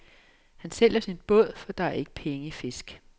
Han sælger sin båd, for der er ikke penge i fisk.